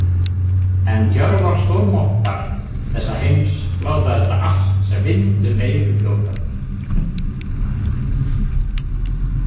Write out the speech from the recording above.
En Tjörvar stórmoffar þessa heims láta þetta allt sem vind um eyru þjóta.